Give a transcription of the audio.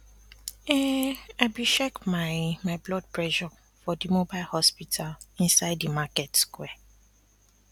um i be check my my blood pressure for di mobile hospital inside di market square